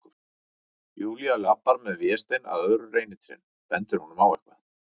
Júlía labbar með Véstein að öðru reynitrénu, bendir honum á eitthvað.